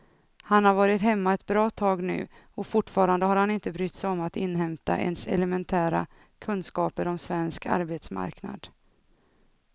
Han har varit hemma ett bra tag nu och fortfarande har han inte brytt sig om att inhämta ens elementära kunskaper om svensk arbetsmarknad.